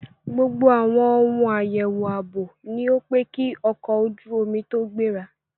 Gbogbo àwọn ohun àyẹ̀wò ààbò ni ó pé kí ọkọ̀ ojú omi tó gbéra.